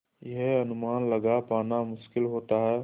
यह अनुमान लगा पाना मुश्किल होता है